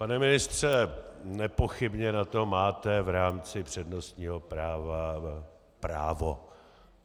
Pane ministře, nepochybně na to máte v rámci přednostního práva právo.